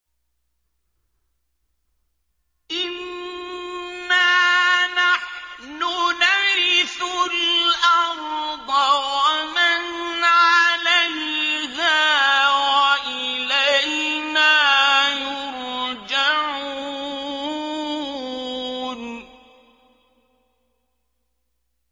إِنَّا نَحْنُ نَرِثُ الْأَرْضَ وَمَنْ عَلَيْهَا وَإِلَيْنَا يُرْجَعُونَ